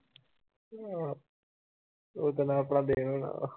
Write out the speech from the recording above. ਓਦਣ ਆਪਣਾ day ਹੋਣਾ